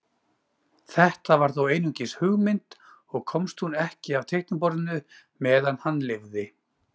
Þetta var þó einungis hugmynd og komst hún ekki af teikniborðinu meðan hann lifði.